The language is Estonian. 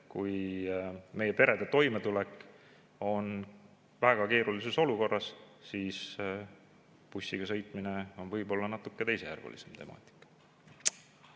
Kui meie perede toimetulek on väga keerulises olukorras, siis bussiga sõitmine on võib-olla natuke teisejärgulisem temaatika.